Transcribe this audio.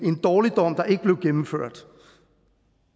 dårligdom der ikke blev gennemført